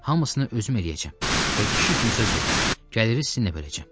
Hamısını özüm eləyəcəm və kişi kimi söz verirəm, gəliri sizinlə böləcəm.